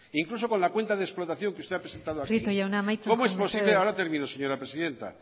incluso con la cuenta de explotación que usted ha presentando aquí prieto jauna amaitu mesedez ahora termino señora presidenta